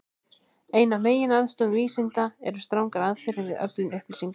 Ein af meginstoðum vísinda eru strangar aðferðir við öflun upplýsinga.